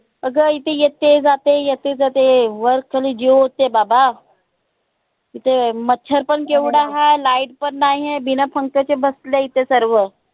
अग इथे येते जेते येते जेते वर खाली जीव होते बाबा इथ मच्छर पण केवढं हाय, light पण नाही हाय बिना पंख्याचे बसले आय इथे सर्व